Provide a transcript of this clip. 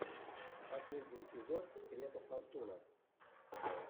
последний эпизод света фортуна